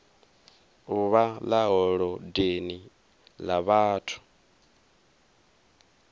uvha ḽa holodeni ḽa vhathu